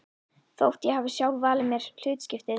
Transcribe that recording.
Þótt ég hafi sjálf valið mér hlutskiptið.